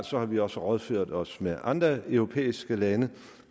så har vi også rådført os med andre europæiske lande